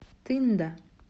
тында